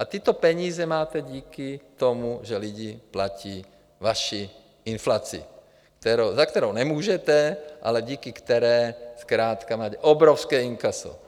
A tyto peníze máte díky tomu, že lidi platí vaši inflaci, za kterou nemůžete, ale díky které zkrátka máte obrovské inkaso.